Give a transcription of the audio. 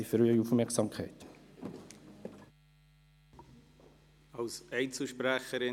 Wir versuchen derzeit erst mal, das Ganze abzubremsen.